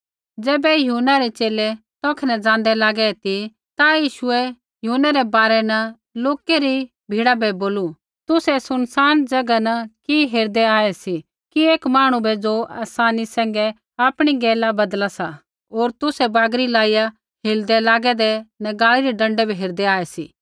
ज़ैबै यूहन्ना रै च़ेले तौखै न ज़ाँदै लागै ती ता यीशुऐ यूहन्नै रै बारै न लोकै री भीड़ा बै बोलू तुसै सुनसान ज़ैगा न कि हेरदै आऐ सी कि एक मांहणु बै ज़ो आसानी सैंघै आपणी गैला बदला सा होर तुसै बागरियै लाइया हिलदै लागैदै नगाल़ी रै डँडै हेरदै आऐ सी